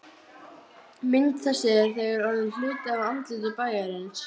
Frá sjö um morguninn til ellefu um kvöldið.